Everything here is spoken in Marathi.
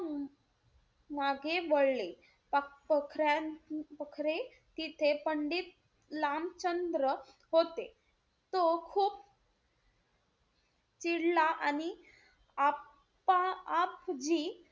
मागे वळले. प~ पखरे तिथे पंडित लामचंद्र होते. तो खूप चिडला आणि आपा~ आपजी,